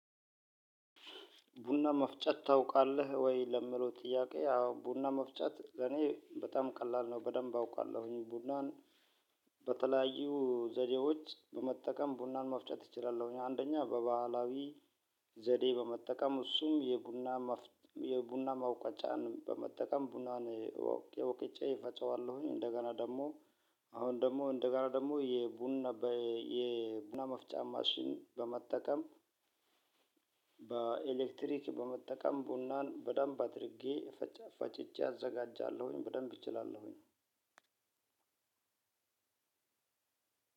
ቡና መፍጨት ታውቃለህ ወይ? ለምለው ጥያቄ ያው ቡና መፍጨት ለኔ በጣም ቀላል ነው በደንብ አውቃለሁኝ ቡናን። በተለያዩ ዘዴዎች በመጠቀም ቡናን መፍጨት እችላለሁኝ። አንደኛ በባህላዊ ዘዴ በመጠቀም እሱም የቡና መውቋጫን በመጠቀም ቡናን ወቅጬ እፈጨዋለሁኝ። እንደገና ደግሞ አሁን ደግሞ እንደገና ደግሞ የቡና መፍጫ ማሽን በመጠቀም በኤሌክትሪክ በመጠቀም ቡናን በደንብ አድርጌ ፈጭቸ አዘጋጃለሁኝ። በደንብ እችላለሁኝ።